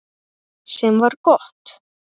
Sem var gott.